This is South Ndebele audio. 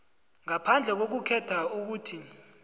ngaphandle kokukhetha ukuthi